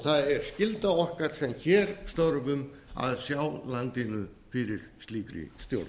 það er skylda okkar sem hér störfum að sjá landinu fyrir slíkri stjórn